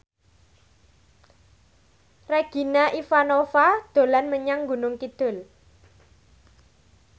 Regina Ivanova dolan menyang Gunung Kidul